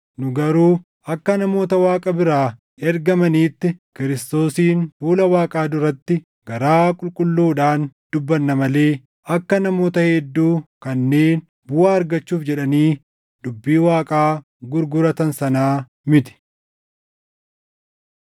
Nu garuu akka namoota Waaqa biraa ergamaniitti Kiristoosiin fuula Waaqaa duratti garaa qulqulluudhaan dubbanna malee akka namoota hedduu kanneen buʼaa argachuuf jedhanii dubbii Waaqaa gurguratan sanaa miti.